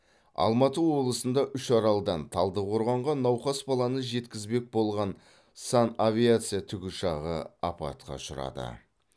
алматы облысында үшаралдан талдықорғанға науқас баланы жеткізбек болған санавиация тікұшағы апатқа ұшырады